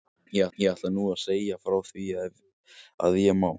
Ég ætla nú að segja frá því ef að ég má